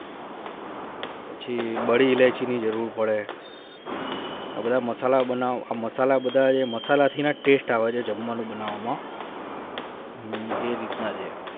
પછી બાળી ઈલાયચી ની જરૂરત પડે એને મસાલા જે ના મસાલા માં taste આવે છે જમવાનું બનાવ માં એ રીતના છે